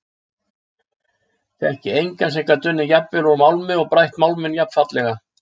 Þekki engan sem gat unnið jafnvel úr málmi og brætt málminn jafnfallega.